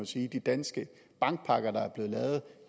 sige at de danske bankpakker der er blevet lavet